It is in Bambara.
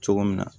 Cogo min na